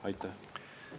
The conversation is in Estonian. Aitäh!